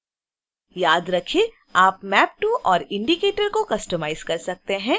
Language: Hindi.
याद रखें: आप map to: और indicators को कस्टमाइज़ कर सकते हैं